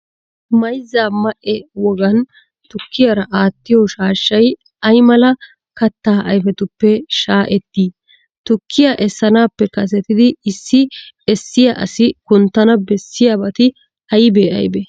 Mayzza ma"e wogan tukkiyara aattiyo shaashshay ay mala kattaa ayfetuppe shaa'ettii? Tukkiya essanaappe kasetidi issi essiya asi kunttana bessiyabati aybee aybee?